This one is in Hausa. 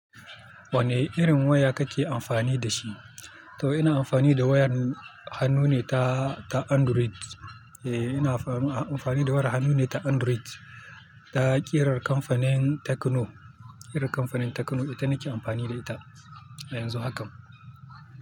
Wane irin waya kake amfani da shi? To ina amfani da wayar hannu ne ta, ta Android. Eh ina amfani da wayar hannu ne ta Android. Ta ƙirar kamfanin Tecno. Ƙirar kamfanin Tecno ita nake amfani da ita yanzu haka.